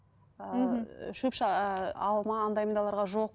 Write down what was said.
ыыы шөп ыыы алма андай мұндайларға жоқ